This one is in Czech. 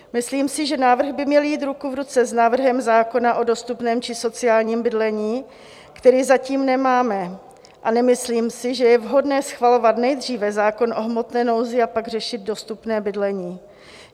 Myslím si, že návrhy by měly jít ruku v ruce s návrhem zákona o dostupném či sociálním bydlení, který zatím nemáme, a nemyslím si, že je vhodné schvalovat nejdříve zákon o hmotné nouzi a pak řešit dostupné bydlení.